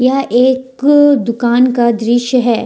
यह एक दुकान का दृश्य है ।